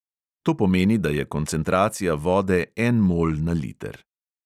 To pomeni, da je koncentracija vode en mol na liter.